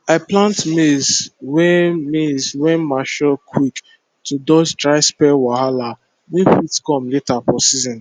i plant maize wey maize wey mature quick to dodge dry spell wahala wey fit come later for season